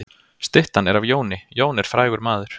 Styttan er af Jóni. Jón er frægur maður.